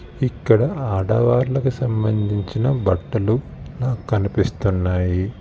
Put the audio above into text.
ఇక్కడ ఆడవాళ్ళకి సంబంధించిన బట్టలు నాకు కనిపిస్తున్నాయి.